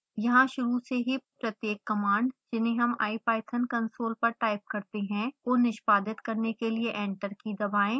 यहाँ शुरू से ही प्रत्येक कमांड जिन्हें हम ipython कंसोल पर टाइप करते हैं को निष्पादित करने के लिए एंटर की दबाएं